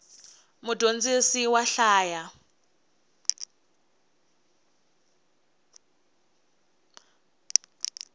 mudyondzisi wa hlaya